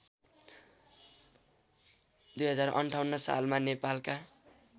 २०५८ सालमा नेपालका